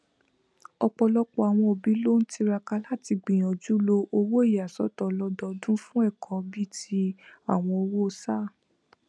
ọpọlọpọ àwọn òbí ló n tiraka láti gbìyànjú lo owó ìyàsọtọ ọlọdọọdún fún ẹkọ bí i ti àwọn owó sáà